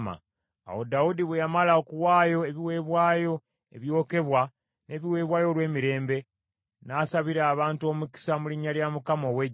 Awo Dawudi bwe yamala okuwaayo ebiweebwayo ebyokebwa n’ebiweebwayo olw’emirembe, n’asabira abantu omukisa mu linnya lya Mukama ow’eggye,